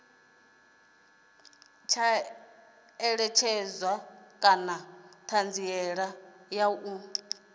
ṋekedza na ṱhanziela ya u